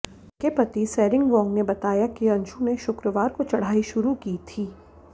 उनके पति सेरिंग वांग ने बताया कि अंशु ने शुक्रवार को चढ़ाई शुरू की थी